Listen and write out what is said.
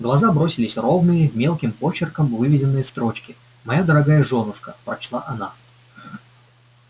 в глаза бросились ровные мелким почерком выведенные строчки моя дорогая жёнушка прочла она